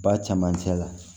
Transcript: Ba camancɛ la